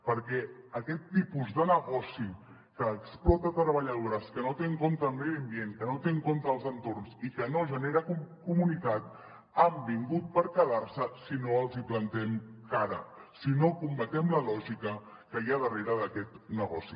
perquè aquest tipus de negoci que explota treballadores que no té en compte el medi ambient que no té en compte els entorns i que no genera comunitat han vingut per quedar se si no els hi plantem cara si no combatem la lògica que hi ha darrere d’aquest negoci